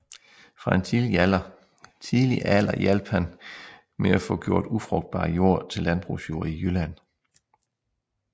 Fra en tidlig alder hjalp han med at få gjort ufrugtbar jord til landbrugsjord i Jylland